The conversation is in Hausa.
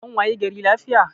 An wayi gari lafiya